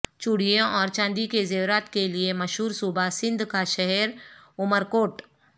چوڑیوں اور چاندی کے زیورات کے لیے مشہور صوبہ سندھ کا شہر عمر کوٹ